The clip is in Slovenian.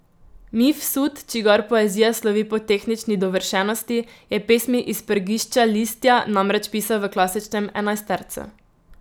Mifsud, čigar poezija slovi po tehnični dovršenosti, je pesmi iz Prgišča listja namreč pisal v klasičnem enajstercu.